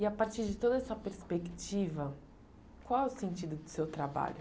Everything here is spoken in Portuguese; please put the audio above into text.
E a partir de toda essa perspectiva, qual é o sentido do seu trabalho?